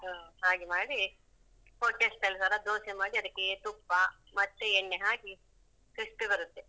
ಹಾ ಹಾ ಹಾಗೆ ಮಾಡಿ hotel style ತರ ದೋಸೆ ಮಾಡಿ ಅದಕ್ಕೆ ತುಪ್ಪ ಮತ್ತೆ ಎಣ್ಣೆ ಹಾಕಿ crispy ಬರುತ್ತೆ.